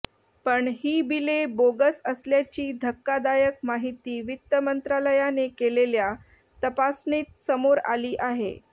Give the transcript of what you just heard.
पण ही बिले बोगस असल्याची धक्कादायक माहिती वित्तमंत्रालयाने केलेल्या तपासणीत समोर आली आहे